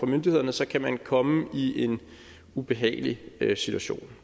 myndighederne så kan man komme i en ubehagelig situation